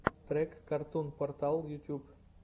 трек картун портал ютьюб